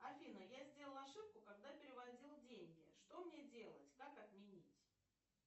афина я сделала ошибку когда переводила деньги что мне делать как отменить